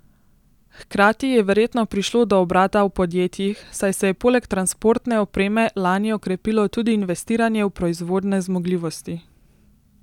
Hkrati je verjetno prišlo do obrata v podjetjih, saj se je poleg transportne opreme lani okrepilo tudi investiranje v proizvodne zmogljivosti.